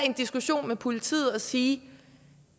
en diskussion med politiet og sige